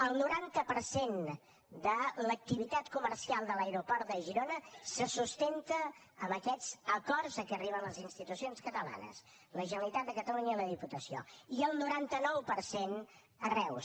el noranta per cent de l’activitat comercial de l’aeroport de girona se sustenta en aquests acords a què arriben les institucions catalanes la generalitat de catalunya i la diputació i el noranta nou per cent a reus